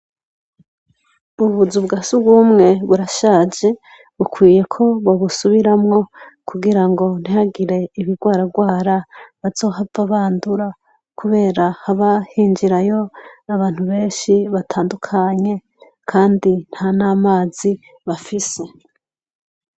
Ubuzu bwa sugumwe burashaje bukwiye ko bobusubiramwo kugirango ntihagire ibigwaragwara bazohava bandura, kubera haba hinjirayo abantu beshi batandukanye kandi ntan'amazi bafise.